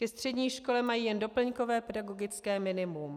Ke střední škole mají jen doplňkové pedagogické minimum.